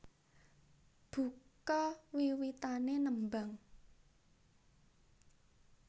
Buka wiwitané nembang